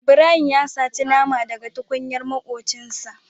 Ibrahim ya sata nama da ga tukunyar makuncin sa.